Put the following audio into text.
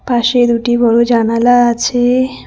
পাশে দুটি বড় জানালা আছে।